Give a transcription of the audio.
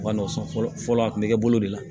Ma nɔgɔ san fɔlɔ fɔlɔ a kun mi kɛ bolo de la